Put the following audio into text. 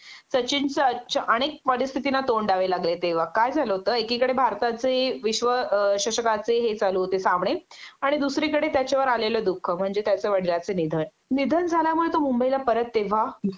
सचिनचं अच अनेक परिस्थितींना तोंड द्यावे लागले तेंव्हा काय झाल होते एकीकडे भारताचे विश्व शशकाचे हे चालू होते सामणे आणि दुसरीकडे त्याच्यावर आलेलं दुःख म्हणजे त्याच्या वडिलांचं निधन.निधन झाल्यामुळे तो मुंबईला परत तेंव्हा